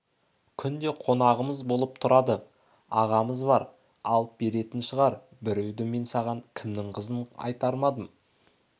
күнде қонағымыз болып тұрады ағамыз бар алып беретін шығар біреуді мен саған кімнің қызын айттырмадым